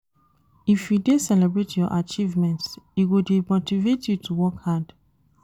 If you dey celebrate your achievements, e go dey motivate you to work hard.